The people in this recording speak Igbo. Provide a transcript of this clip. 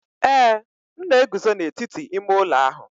Ee, m na-eguzo n'etiti ime ụlọ ahụ.